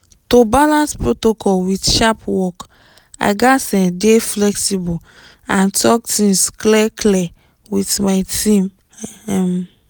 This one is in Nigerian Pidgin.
to balance protocol with sharp work i gats um dey flexible and talk things clear-clear with my team um